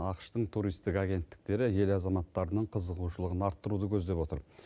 ақш тың туристік агенттіктері ел азаматтарының қызығушылығын арттыруды көздеп отыр